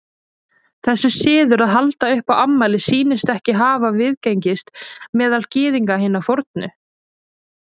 Þessi siður að halda upp á afmæli sýnist ekki hafa viðgengist meðal Gyðinga hinna fornu.